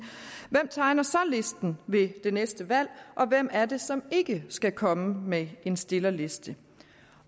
hvem tegner så listen ved det næste valg og hvem er det som ikke skal komme med en stillerliste